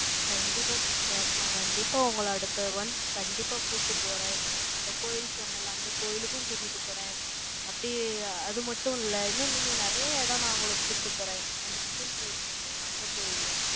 கண்டிப்பா, sister நான் கண்டிப்பா, உங்களை அடுத்த one, கண்டிப்பா கூட்டிட்டு போறேன். அந்த கோயில் போனேன்ல, அந்த கோயிலுக்கும் கூட்டிட்டு போறேன் அப்படி அது மட்டும் இல்ல, இன்னும் நீங்க நிறைய இடம் நான் உங்களுக்கு கூட்டிட்டு போறேன். அந்த சிவன் கோயில் சொன்னேன்ல, அந்த கோயில்,